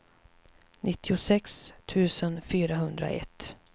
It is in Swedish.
nittiosex tusen fyrahundraett